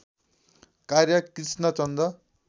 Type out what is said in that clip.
कार्य कृष्णचन्द्र